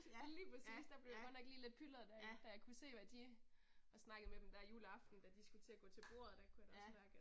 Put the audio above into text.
Lige præcis der blev jeg godt nok lige lidt pylret da da jeg kunne se hvad de, jeg snakkede med dem der juleaften de da de skulle til at gå til bordet der kunne jeg da også mærke at